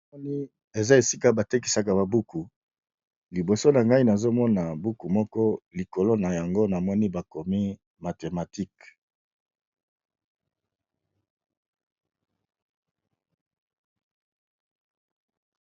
Na moni eza esika ba tekisaka ba buku, liboso na ngai nazo mona buku moko likolo na yango namoni ba komi mathematique.